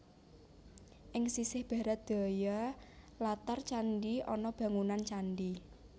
Ing sisih Barat Daya latar candhi ana bangunan candhi